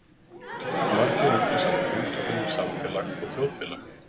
Margir rugla saman hugtökunum samfélag og þjóðfélag.